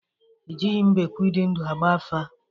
Ejighị mbekwu di ndu agba afa